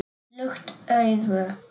Lukt augu